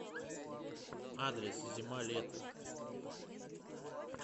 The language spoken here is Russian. адрес зима лето